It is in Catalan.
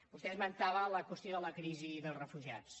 vostè esmentava la qüestió de la crisi dels refugiats